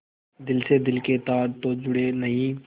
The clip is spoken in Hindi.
दिल से दिल के तार तो जुड़े नहीं